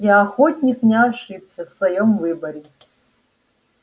и охотник не ошибся в своём выборе